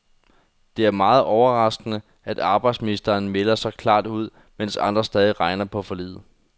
Det er meget overraskende, at arbejdsministeren melder så klart ud, mens andre stadig regner på forliget.